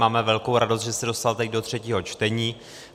Máme velkou radost, že se dostal teď do třetího čtení.